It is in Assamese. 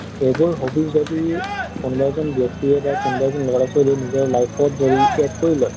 এইবোৰ hobbies যদি কোনবা এজন ব্য়ক্তিয়ে বা কোনবা এজন লʼৰা ছোৱালীয়ে নিজৰ life ত যদি add কৰি লয়